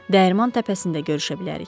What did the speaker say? Dəyirman təpəsində görüşə bilərik.